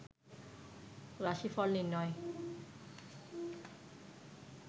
রাশিফল নির্ণয়